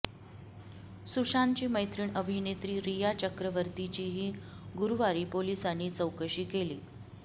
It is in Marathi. सुशांतची मैत्रिण अभिनेत्री रिया चक्रवर्तीचीही गुरुवारी पोलिसांनी चौकशी केली